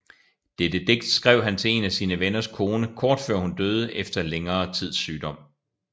Dette digt skrev han til en af sine venners kone kort før hun døde efter længere sygdomme